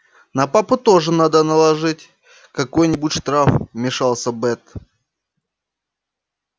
на папу тоже надо наложить какой-нибудь штраф вмешалась бэт